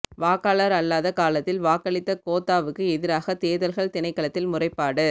வாக்காளர் அல்லாத காலத்தில் வாக்களித்த கோத்தாவுக்கு எதிராக தேர்தல்கள் திணைக்களத்தில் முறைப்பாடு